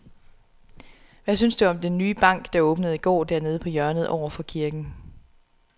Hvad synes du om den nye bank, der åbnede i går dernede på hjørnet over for kirken?